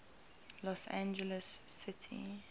los angeles city